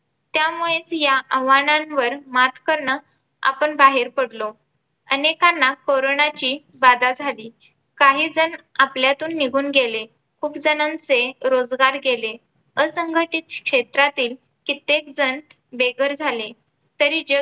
अनेकांना कॉरोनची बाधा झाली. काही जण आपल्यातून निघून गेले, खूप जणांचे रोजगार गेले, असंघटित क्षेत्रातील कित्येक जण बेघर झाले तरी